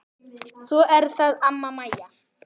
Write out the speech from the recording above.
Svo er það amma Mæja.